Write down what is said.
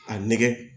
A nɛgɛn